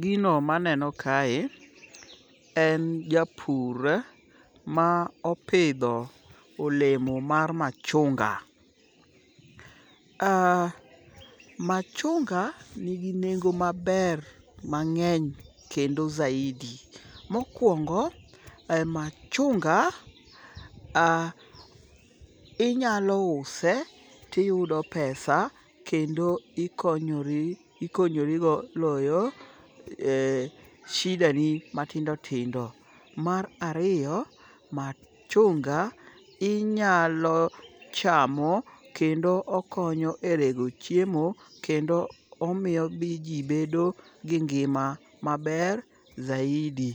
Gino maneno kae en japur ma opidho olemo mar machunga. Machunga nigi nengo maber mang'eny kendo zaidi. Mokwongo, machunga inyalo use tiyudo pesa kendo ikonyorigo loyo shida ni matindo tindo. Mar ariyo, machunga inyalo chamo kendo okonyo e rego chiemo kendo omiyo ji bedo gi ngima maber zaidi.